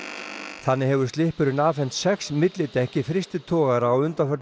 þannig hefur Slippurinn afhent sex millidekk í frystitogara á undanförnum